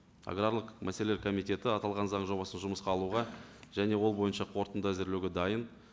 аграрлық мәселелер комитеті аталған заң жобасын жұмысқа алуға және ол бойынша қорытынды әзірлеуге дайын